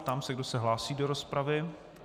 Ptám se, kdo se hlásí do rozpravy.